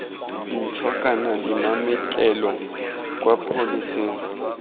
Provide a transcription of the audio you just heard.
ntšha kana dimametlelelo kwa pholeseng